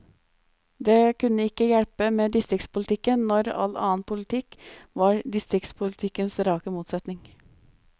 Det kunne ikke hjelpe med distriktspolitikken, når all annen politikk var distriktspolitikkens rake motsetning.